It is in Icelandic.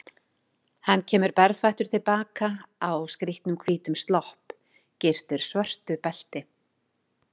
Hann kemur berfættur til baka, á skrýtnum hvítum slopp, gyrtur svörtu belti.